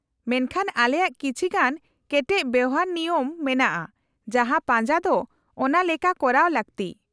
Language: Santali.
-ᱢᱮᱱᱠᱷᱟᱱ , ᱟᱞᱮᱭᱟᱜ ᱠᱤᱪᱷᱤ ᱜᱟᱱ ᱠᱮᱴᱮᱡ ᱵᱮᱣᱦᱟᱨᱼᱱᱤᱭᱚᱢ ᱢᱮᱱᱟᱜᱼᱟ ᱡᱟᱦᱟᱸ ᱯᱟᱡᱟ ᱫᱚ ᱚᱱᱟ ᱞᱮᱠᱟ ᱠᱚᱨᱟᱣ ᱞᱟᱠᱛᱤ ᱾